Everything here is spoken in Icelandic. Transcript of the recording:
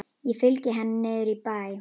Ég fylgi henni niður í bæ.